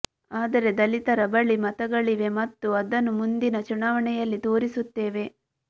ಆದರೆ ದಲಿತರ ಬಳಿ ಮತಗಳಿವೆ ಮತ್ತು ಅದನ್ನು ಮುಂದಿನ ಚುನಾವಣೆಯಲ್ಲಿ ತೋರಿಸುತ್ತೇವೆ